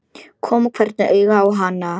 Kom hvergi auga á hana.